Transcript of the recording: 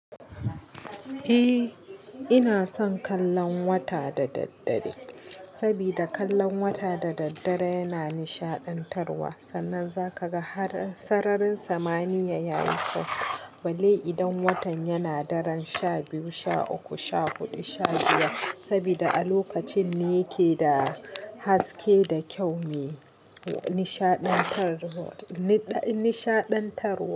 Eh, ina son kallon wata da daddare, saboda kallon wata da daddare yana nishaɗantarwa. Sannan za ka ga har sararin samaniya ya yi kyau balle idan watan yana daren sha biyu, sha uku, sha huɗu, sha biyar. Saboda a lokacin ne yake da haske da kyau me nishaɗantarwa, nishaɗantarwa.